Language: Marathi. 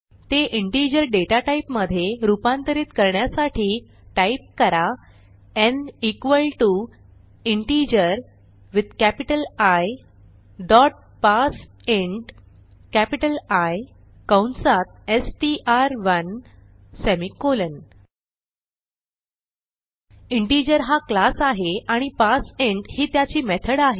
ते इंटिजर डेटाटाईपमधे रूपांतरित करण्यासाठी टाईप करा n equal to integer with capital I dot parseint capital Iकंसात एसटीआर1 सेमिकोलॉन इंटिजर हा क्लास आहे आणि पार्सिंट ही त्याची मेथड आहे